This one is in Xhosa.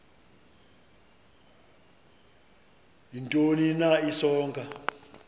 ntoni na isonka